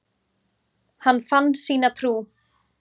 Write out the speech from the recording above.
Hann fann sína trú.